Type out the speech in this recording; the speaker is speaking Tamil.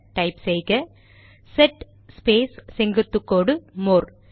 டைப் செய்க செட் ஸ்பேஸ் செங்குத்து கோடு மோர்